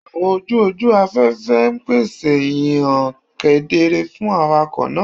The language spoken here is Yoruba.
Awọn oju oju afẹfẹ n pese hihan kedere fun awakọ naa